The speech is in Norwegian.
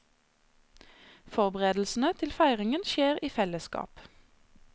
Forberedelsene til feiringen skjer i fellesskap.